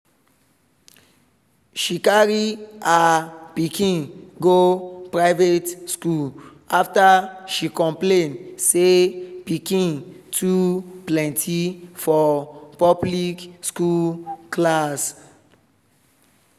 she carry her pikin go private school after she complain say piken too pleny for public school class.